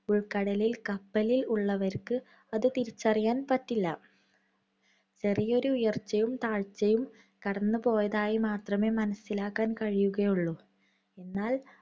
ഉൾക്കടലിൽ കപ്പലിൽ ഉള്ളവർക്ക് അത് തിരിച്ചറിയാൻ പറ്റില്ല. ചെറിയൊരു ഉയർച്ചയും താഴ്ചയും കടന്നുപോയതായി മാത്രമേ മനസ്സിലാക്കാൻ കഴിയുകയുള്ളൂ. എന്നാൽ